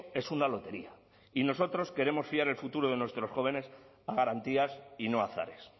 es una lotería y nosotros queremos fiar el futuro de nuestros jóvenes a garantías y no a azares